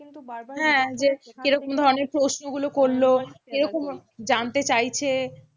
হ্যাঁ যে কিরকম ধরনের প্রশ্নগুলো করলো কীরকম জানতে চাইছে,